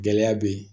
Gɛlɛya be yen